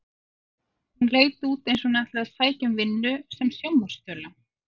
Hún leit út eins og hún ætlaði að sækja um vinnu sem sjónvarpsþula.